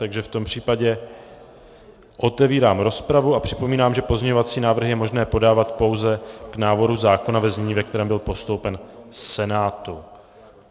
Takže v tom případě otevírám rozpravu a připomínám, že pozměňovací návrhy je možné podávat pouze k návrhu zákona ve znění, ve kterém byl postoupen Senátu.